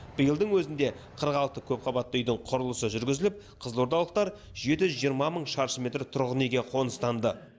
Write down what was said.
биылдың өзінде қырық алты көпқабатты үйдің құрылысы жүргізіліп қызылордалықтар жеті жүз жиырма мың шаршы метр тұрғын үйге қоныстанды